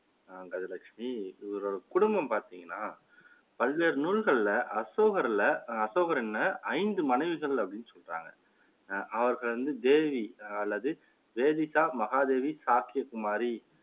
கஜலட்சுமி இவரோட குடும்பம் பாத்தீங்கன்னா பல்வேறு நூல்களில அசோகர்ல அசோகன்னு ஐந்து மனைவிகள் அப்படின்னு சொல்றாங்க அவர்கள் வந்து தேவி அல்லது வேதிஸா மகாதேவி சாக்கிய குமாரி,